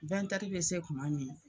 bɛ se tuma min